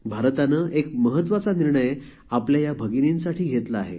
भारताने एक महत्वाचा निर्णय आपल्या या भगिनींसाठी घेतला आहे